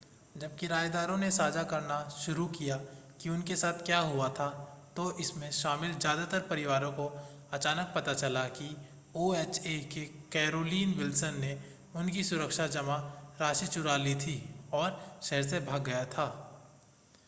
जब किरायेदारों ने साझा करना शुरू किया कि उनके साथ क्या हुआ था तो इसमें शामिल ज़्यादातर परिवारों को अचानक पता चला कि ओएचए के कैरोलिन विल्सन ने उनकी सुरक्षा जमा राशि चुरा ली थी और शहर से भाग गया था